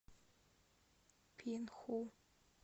пинху